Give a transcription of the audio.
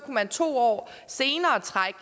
man to år senere trække